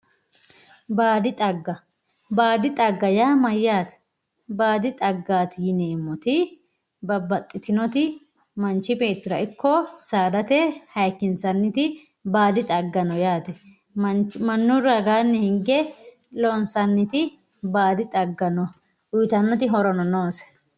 Baadi xagga baadi xagga yaa mayyaate? Baadi xaggaati yineemmoti manchi beettira ikko saadate hayikkinsanniti baadi xagga no yaate mannu ragaanni loosantannoti baadi xagga no yaate uyitannoti horono noose.